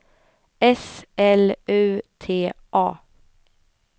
S L U T A